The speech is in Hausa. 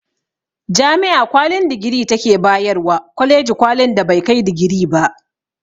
Jami'a kwalin digiri ta ke ba yarwa kwaleji kwalin da bai kai digiri ba